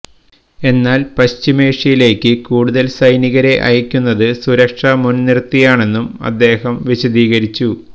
എന്നാല് പശ്ചിമേഷ്യയിലേക്ക് കൂടുതല് സൈനികരെ അയക്കുന്നത് സുരക്ഷ മുന്നിര്ത്തിയാണെന്നും അദ്ദേഹം വിശദീകരിച്ചു